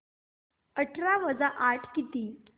अठरा वजा आठ किती